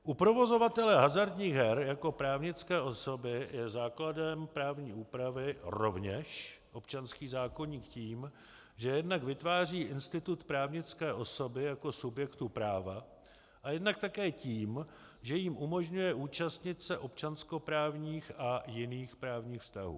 U provozovatele hazardních her jako právnické osoby je základem právní úpravy rovněž občanský zákoník tím, že jednak vytváří institut právnické osoby jako subjektu práva a jednak také tím, že jim umožňuje účastnit se občanskoprávních a jiných právních vztahů.